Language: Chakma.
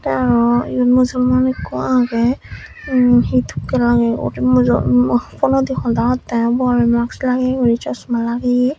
te aro yot musolman ikko agey em he tokke lageye uri mujohot mo phonodi hoda hottey bor mask lageye guri chasma lageye.